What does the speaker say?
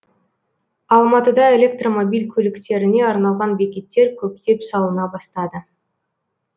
алматыда электромобиль көліктеріне арналған бекеттер көптеп салына бастады